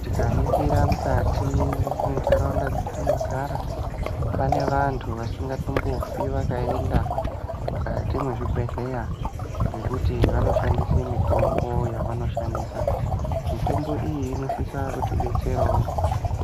Tikaningira mukati mwentaraunda dzatinogara pane vantu vasingatombofi vakaenda mukati mwezvibhedhleya ngekuti vanoshandisa mutombo yavanoshandisa mutombo iyi inosisa kutidetserawo.